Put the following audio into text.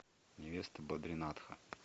невеста бадринатха